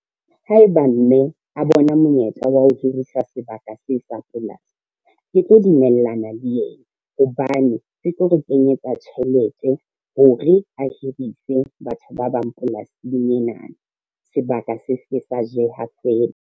Haeba mme a bona monyetla wa ho hirisa sebaka se sa polasi, ke tlo dumellana le yena hobane, se tlo re kenyetsa tjhelete hore a hirise batho ba bang polasing ena, sebaka se ske sa jeha fela.